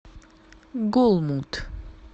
голмуд